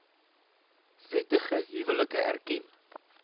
wettige huwelike erken